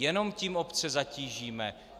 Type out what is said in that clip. Jenom tím obce zatížíme.